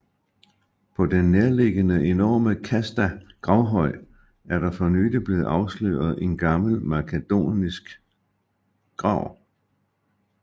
På den nærliggende enorme Kasta gravhøj er der for nylig blevet afsløret en gammel makedonsk grav